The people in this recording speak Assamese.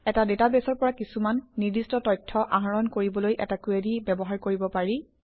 এটা ডাটাবেছৰ পৰা কিছুমান নিৰ্দিষ্ট তথ্য আহৰণ কৰিবলৈ এটা কুৱেৰি ব্যৱহাৰ কৰিব পাৰি